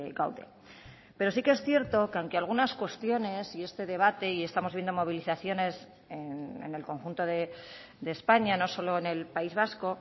gaude pero sí que es cierto que aunque algunas cuestiones y este debate y estamos viendo movilizaciones en el conjunto de españa no solo en el país vasco